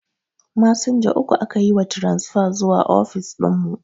Masinja uku aka yi wa taransifa zuwa ofis dinmu